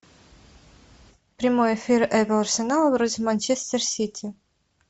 прямой эфир апл арсенал против манчестер сити